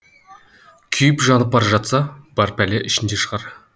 күйіп жанып бара жатса бар пәле ішінде шығар